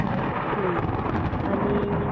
हं आणि